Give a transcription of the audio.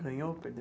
Ganhou ou perdeu?